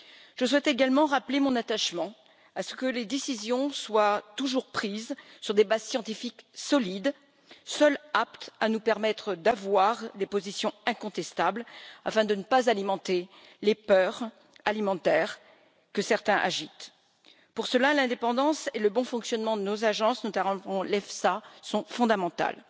Je souhaite également rappeler mon attachement à ce que les décisions soient toujours prises sur des bases scientifiques solides, seules aptes à nous permettre d'avoir des positions incontestables afin de ne pas alimenter les peurs alimentaires que certains agitent. Pour cela, l'indépendance et le bon fonctionnement de nos agences, notamment l'Autorité européenne de sécurité des aliments sont fondamentales.